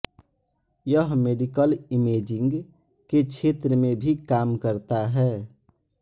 यह medical imaging के क्षेत्र में भी काम करता है